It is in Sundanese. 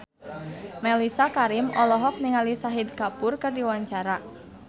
Mellisa Karim olohok ningali Shahid Kapoor keur diwawancara